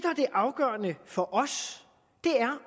afgørende for os